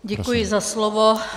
Děkuji za slovo.